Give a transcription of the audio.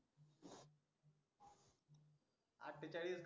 अटटेचाडिश